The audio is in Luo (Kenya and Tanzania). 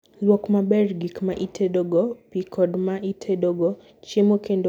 Lwok maber gik ma itedogo pi kod ma itedogo chiemo kendo gol chiembgi molal nikech mano ywayo kute e od gwen.